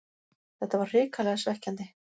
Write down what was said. Þetta var hrikalega svekkjandi